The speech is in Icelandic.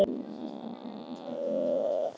Takk fyrir lambið og viskíið, sagði Vilhelm.